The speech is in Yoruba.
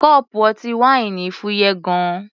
Kọ́ọ̀pù ọtí wáìnì fúyẹ́ gan-an.